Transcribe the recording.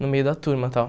no meio da turma, tal.